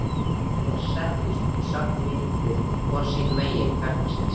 Þeir settust í svartamyrkrið hvor sínu megin gangsins.